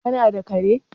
kana da kare?